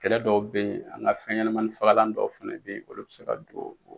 Kɛlɛ dɔw bɛ yen, an ka fɛn ɲɛnɛmanin fagalan dɔw fɛnɛ bɛ yen, olu bɛ se ka don o.